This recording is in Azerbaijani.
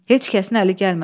Heç kəsin əli gəlmədi.